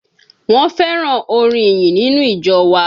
Wọ́n fẹ́ràn orin ìyìn nínú ìjọ wa.